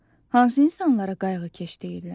Hansı insanlara qayğıkeş deyirlər?